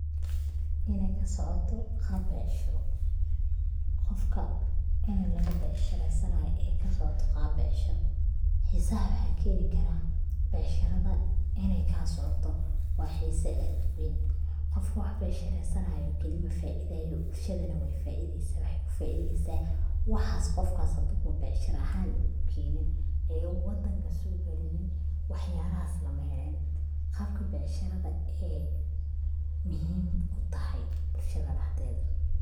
Inay kasocoto qab becshiro, qofka ini laga becshiresanayo ee kasocoto qab becshiro, xiisa waxa keeni karaa becshirada inay kaa socoto waa xiisa aad uweyn, qofka wax becshireesanayo keli ma faa'iidaye bulshadana way faa'iideysa waxa kufaa'iideysa waxaas qofkas haduu becshira ahan uu ukeenin ee uu wadanka soo gelinin waxyalahaas lama heleen, qabka becshirada ee muhim kutahay bulshada dhaxdeeda